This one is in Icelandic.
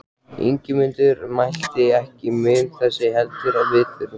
Ingimundur mælti: Ekki mun þess heldur við þurfa.